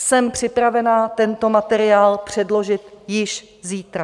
Jsem připravena tento materiál předložit již zítra.